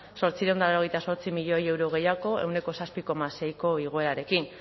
zortziehun eta laurogeita zortzi milioi euro gehiago ehuneko zazpi koma seiko igoerarekin